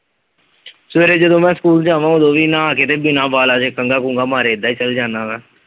ਸਵੇਰੇ ਜਦੋਂ ਮੈ ਸਕੂਲ ਜਾਨਾ ਓਦੋ ਵੀ ਨਹਾ ਕੇ ਤੇ ਬਿਨਾ ਬਾਲਾਂ ਤੇ ਕੰਘਾ ਕੁੰਗਾ ਮਾਰੇ ਏਦਾਂ ਈ ਚਲ ਜਾਨਾ ਮੈ।